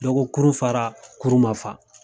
Dɔ ko kurun fara kurun ma fa